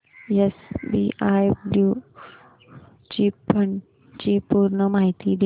SBI blue chip fund ची पूर्ण माहिती दे